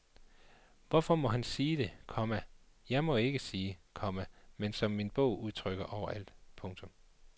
Hvorfor må han sige det, komma jeg ikke må sige, komma men som min bog udtrykker overalt. punktum